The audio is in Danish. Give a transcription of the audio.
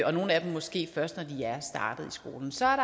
og nogle af dem måske først når de er startet i skolen så er